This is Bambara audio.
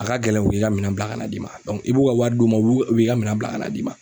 A ka gɛlɛn u K'i ka minAn bila ka n'a d'i ma i b'u ka wari d'u ma u b'u k u b'i ka minan bila ka n'a d'i ma.